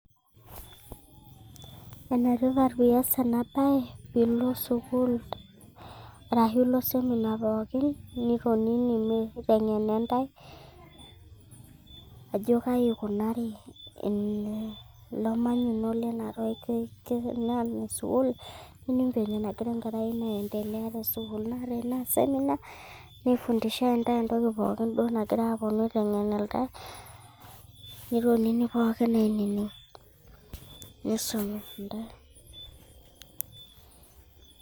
enetipat piaas ena bae, pee ilo sukuul, arashu ilo semina pookin, niitonini meiteng'eni ntae, ajo kaai ikunari, nining' venye nagira enkerai ino aendelea, te sukuul, naa tenaa seminar nisumi ntae entoki duoo pooki nagirae aalimu, nitonini misumi ntae, nitonini pookin ainining'.